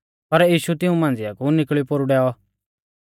पर यीशु तिऊं मांझ़िया कु निकल़ियौ पोरु डैऔ